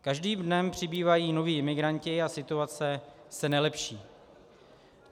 Každým dnem přibývají noví imigranti a situace se nelepší.